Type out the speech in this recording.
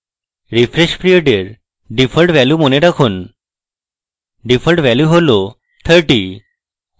refresh period এর default value মনে রাখুন ডিফল্ট value হল 30